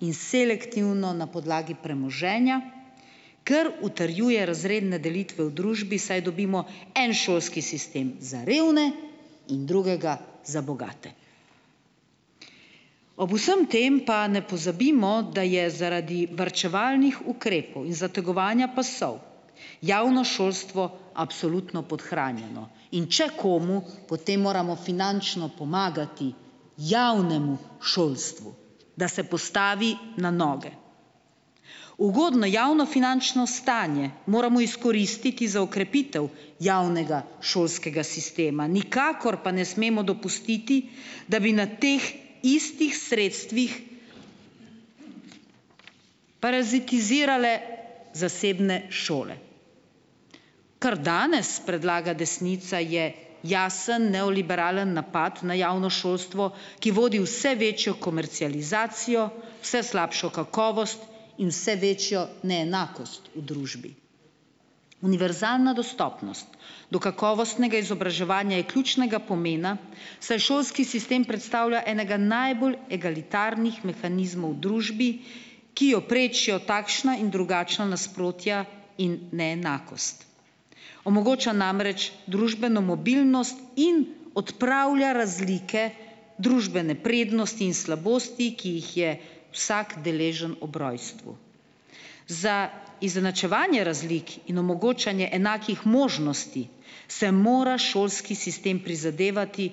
in selektivno na podlagi premoženja, kar utrjuje razredne delitve v družbi, saj dobimo en šolski sistem za revne in drugega za bogate. Ob vsem tem pa ne pozabimo, da je zaradi varčevalnih ukrepov in zategovanja pasov, javno šolstvo absolutno podhranjeno, in če komu, potem moramo finančno pomagati javnemu šolstvu, da se postavi na noge. Ugodno javno finančno stanje moramo izkoristiti za okrepitev javnega šolskega sistema, nikakor pa ne smemo dopustiti, da bi na teh istih sredstvih parazitirale zasebne šole. Kar danes predlaga desnica, je jasen, neoliberalen napad na javno šolstvo, ki vodi vse večjo komercializacijo, vse slabšo kakovost in vse večjo neenakost v družbi. Univerzalna dostopnost do kakovostnega izobraževanja je ključnega pomena, saj šolski sistem predstavlja enega najbolj egalitarnih mehanizmov v družbi, ki jo prečijo takšna in drugačna nasprotja in neenakost. Omogoča namreč družbeno mobilnost in odpravlja razlike družbene prednosti in slabosti, ki jih je vsak deležen ob rojstvu. Za izenačevanje razlik in omogočanje enakih možnosti se mora šolski sistem prizadevati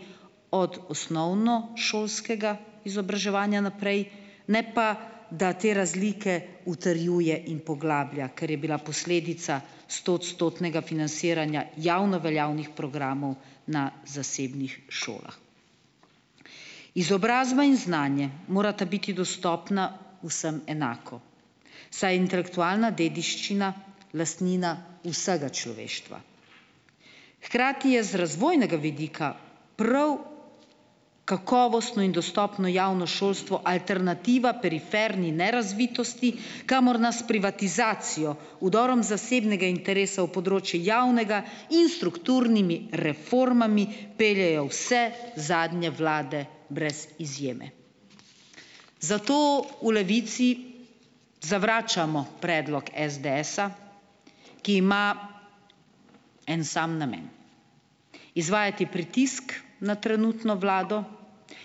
od osnovnošolskega izobraževanja naprej, ne pa da te razlike utrjuje in poglablja, ker je bila posledica stoodstotnega financiranja javno veljavnih programov na zasebnih šolah. Izobrazba in znanje morata biti dostopna vsem enako, saj intelektualna dediščina lastnina vsega človeštva. Hkrati je z razvojnega vidika prav kakovostno in dostopno javno šolstvo alternativa periferni nerazvitosti, kamor nas s privatizacijo, vdorom zasebnega interesa v področje javnega in strukturnimi reformami peljejo vse zadnje vlade brez izjeme. Zato v Levici zavračamo predlog SDS-a, ki ima en sam namen, izvajati pritisk na trenutno vlado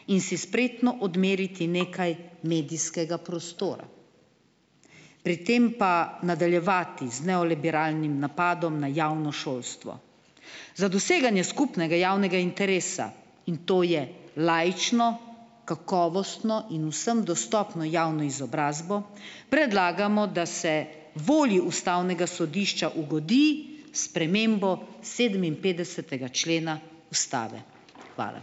in si spretno odmeriti nekaj medijskega prostora, pri tem pa nadaljevati z neoliberalnim napadom na javno šolstvo. Za doseganje skupnega javnega interesa, in to je laično, kakovostno in vsem dostopno javno izobrazbo, predlagamo, da se volji ustavnega sodišča ugodi s spremembo sedeminpetdesetega člena ustave. Hvala.